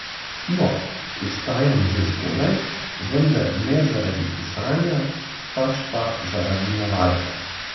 No, vstajam že zgodaj, vendar ne zaradi pisanja, pač pa zaradi navade.